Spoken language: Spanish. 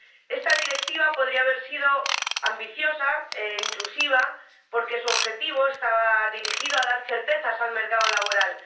Esta Directiva podría haber sido ambiciosa e inclusiva porque su objetivo estaba dirigido a dar certezas al mercado laboral.